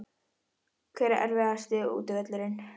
Hver er erfiðasti útivöllurinn?